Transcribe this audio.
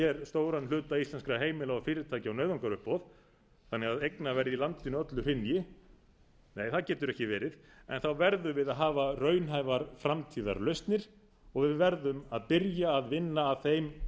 stóran hluta íslenskra heimila og fyrirtækja á nauðungaruppboð þannig að eignaverðið í landinu öllu hrynji nei það getur ekki verið en þá verðum viða á hafa raunhæfar framtíðarlausnir og við verðum byrja að vinna að þeim